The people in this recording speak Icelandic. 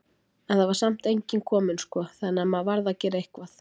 En það var samt enginn kominn sko, þannig að maður varð að gera eitthvað.